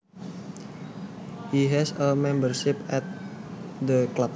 He has a membership at the club